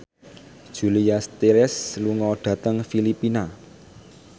Julia Stiles lunga dhateng Filipina